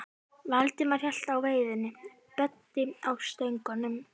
Valdimar hélt á veiðinni, Böddi á stöngunum.